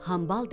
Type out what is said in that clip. Hambal dedi: